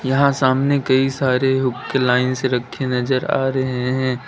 यहाँ सामने कई सारे हुक्के लाइन से रखे नज़र आ रहे हैं।